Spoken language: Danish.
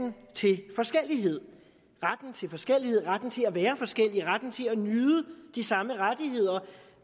til forskellighed retten til forskellighed retten til at være forskellige retten til at nyde de samme rettigheder